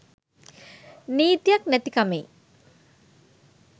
නීතියක් නැති කමෙයි.